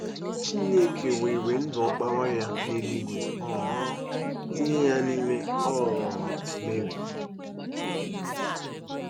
Chineke weere ndụ Ọkpara ya n’eluigwe um tinye ya n’ime um Meri.